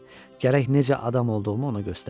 Gərək necə adam olduğumu ona göstərəm.